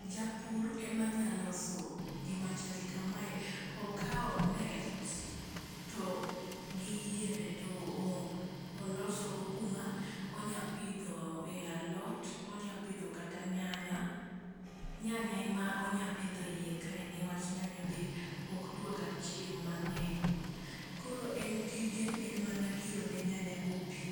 Japur ema nya loso gima chal kamae . Okawo net to gi yiende to oloso go kuma onya pidho e alot, onya pidho kata nyanya. Nyanya ema onya pidhe iye ka newach nyanya be ok dwa ga chieng mangeny. Koro tije en mana kiro ne nyanya go pii